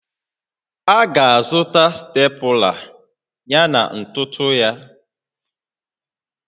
A ga-azụta Stepụla yana ntụtụ ya